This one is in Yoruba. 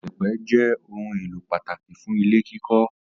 Ìyẹ̀pẹ̀ jẹ́ ohun-èlò pàtàkì fún ilé kíkọ́.